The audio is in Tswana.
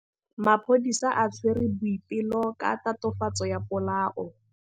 Maphodisa a tshwere Boipelo ka tatofatsô ya polaô.